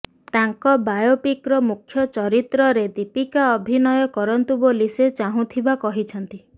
ତାଙ୍କ ବାୟୋପିକ୍ର ମୁଖ୍ୟ ଚରିତ୍ରରେ ଦୀପିକା ଅଭିନୟ କରନ୍ତୁ ବୋଲି ସେ ଚାହୁଁଥିବା କହିଛନ୍ତି